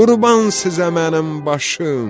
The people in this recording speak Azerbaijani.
Qurban sizə mənim başım!